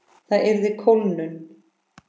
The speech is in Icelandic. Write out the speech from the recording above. Það yrði kólnun.